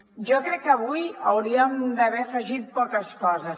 jo crec que avui hauríem d’haver afegit poques coses